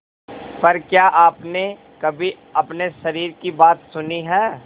पर क्या आपने कभी अपने शरीर की बात सुनी है